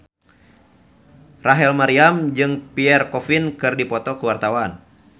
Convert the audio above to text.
Rachel Maryam jeung Pierre Coffin keur dipoto ku wartawan